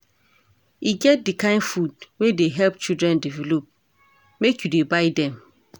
E get di kain food wey dey help children develop, make you dey buy dem.